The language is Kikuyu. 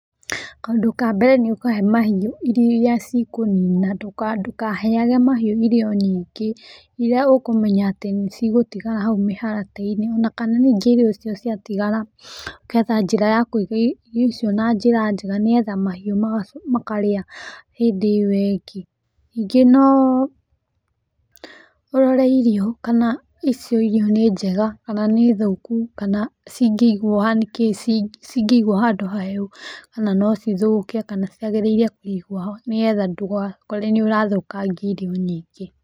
Kaũndũ kambere nĩ ũkahe mahiũ irio iria cikũnina, ndũkaheage mahiũ irio nyingĩ iria ũkũmenya atĩ nĩcigũtigara hau mĩharatĩ-inĩ, ona kana ningĩ irio icio ciatigara, ũngetha njĩra ya kũiga irio icio na njĩra njega nĩgetha mahiũ makarĩa hĩndĩ ĩyo ĩngĩ, ningĩ noo ũrore irio kana icio irio nĩ njega kana nĩ thũku kana cingĩigwo haha nĩkĩĩ cingĩigwo handũ ha hehu kana no cithũke kana ciagĩrĩirwo kũigwo ha nĩgetha ndũgakore nĩ ũrathũkangia irio nyingĩ.